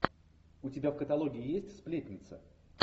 у тебя в каталоге есть сплетница